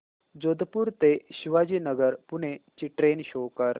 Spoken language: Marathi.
जोधपुर ते शिवाजीनगर पुणे ची ट्रेन शो कर